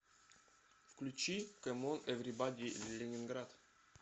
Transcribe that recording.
включи комон эврибади ленинград